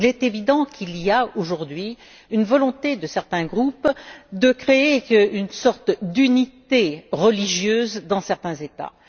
Il est évident qu'il y a, aujourd'hui, une volonté de certains groupes de créer une sorte d'unité religieuse dans certains États.